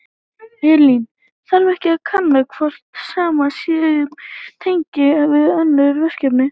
Elín: Þarf ekki að kanna hvort sama sé upp á teningnum við önnur verkefni?